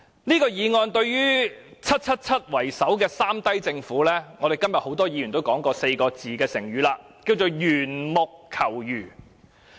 這項議案對於以 "777" 為首的"三低政府"——正如今天很多議員所說的四字成語——可說是緣木求魚。